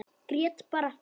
Grét bara.